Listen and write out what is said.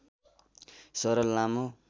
सरल लामो